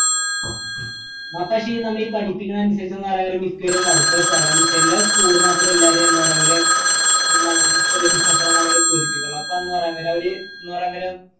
നമ്മ ഈ പഠിപ്പിക്കുന്നത് അനുസരിച്ച് എന്ന് പറയുന്നരം മിക്കവരും workers ആവാനും ചില school മാത്രം എല്ലാരേയും എന്താ പറയാ എന്താണ് ചില business അന്നേരം